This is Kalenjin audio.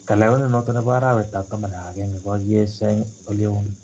Kalewenet noto nebo arawet ab taman ak agenge kokakieshaa en oleon